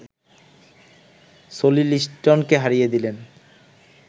Sony লিস্টনকে হারিয়ে দিলেন